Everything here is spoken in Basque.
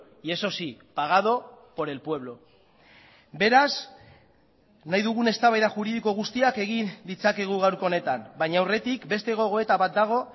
y eso sí pagado por el pueblo beraz nahi dugun eztabaida juridiko guztiak egin ditzakegu gaurko honetan baina aurretik beste gogoeta bat dago